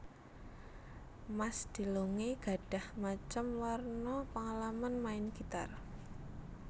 Mas DeLonge gadhah macem warna péngalaman main gitar